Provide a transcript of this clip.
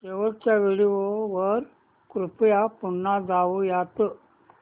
शेवटच्या व्हिडिओ वर कृपया पुन्हा जाऊयात